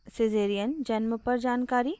caesarean जन्म पर जानकारी